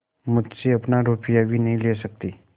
मुझसे अपना रुपया भी नहीं ले सकती